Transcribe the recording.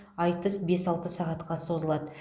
айтыс бес алты сағатқа созылады